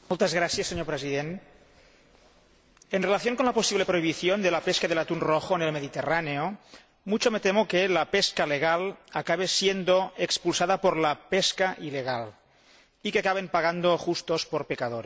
Señor Presidente, en relación con la posible prohibición de la pesca del atún rojo en el Mediterráneo, mucho me temo que la pesca legal acabe siendo expulsada por la pesca ilegal y que acaben pagando justos por pecadores.